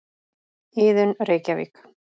Iðunn, Reykjavík.